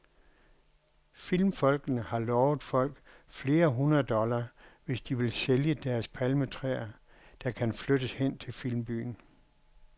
Filmfolkene har lovet folk flere hundrede dollar, hvis de vil sælge deres palmetræer, der skal flyttes hen til filmbyen.